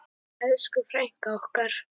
Elsku frænka okkar.